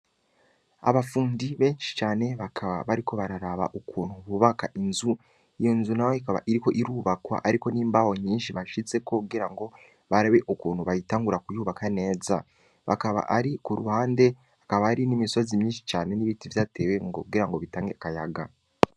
Abafundi benshi cane, bakaba bariko bararaba ukuntu bubaka inzu, iyo nzu nayo ikaba iriko irubakwa, hariko n’imbaho nyinshi bashizeko kugira ngo barabe ukuntu bayitangura kuyubaka neza; bakaba ari ku ruhande, hakaba hari n’imisozi myinshi cane n’ibiti vyatewe kugira ngo bitange n’akayaga.